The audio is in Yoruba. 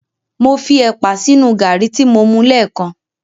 Mo fi ẹ̀pà sínu gàrí tí mo mu lẹ́ẹ̀kan.